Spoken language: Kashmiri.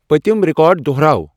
پٔتِم ریکارڈ دُہراو ۔